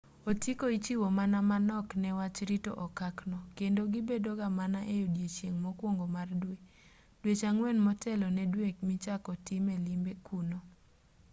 otiko ichiwo mana manok ne wach rito okak no kendo gibedo ga mana e odiechieng' mokuongo mar dwe dweche ang'wen motelo ne dwe michako time limbe kuno